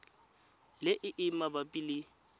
le e e mabapi le